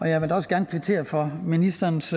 jeg vil da også gerne kvittere for ministerens